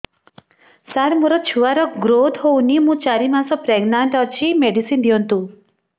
ସାର ମୋର ଛୁଆ ର ଗ୍ରୋଥ ହଉନି ମୁ ଚାରି ମାସ ପ୍ରେଗନାଂଟ ଅଛି ମେଡିସିନ ଦିଅନ୍ତୁ